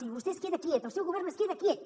i vostè es queda quiet el seu govern es queda quiet